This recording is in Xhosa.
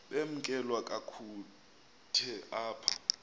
bamkelwe kakuhte apha